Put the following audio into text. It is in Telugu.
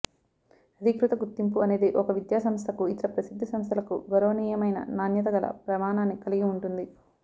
అధీకృత గుర్తింపు అనేది ఒక విద్యాసంస్థకు ఇతర ప్రసిద్ధ సంస్థలకు గౌరవనీయమైన నాణ్యత గల ప్రమాణాన్ని కలిగి ఉంటుంది